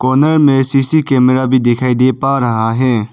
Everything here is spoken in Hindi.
कोने में सी_सी कैमरा भी दिखाई दे पा रहा है।